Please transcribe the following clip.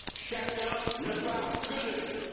Chacun ne parle que de lui.